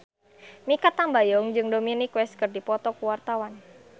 Mikha Tambayong jeung Dominic West keur dipoto ku wartawan